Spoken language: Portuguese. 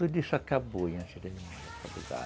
Tudo isso acabou antes